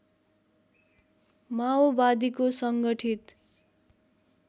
माओवादीको सङ्गठित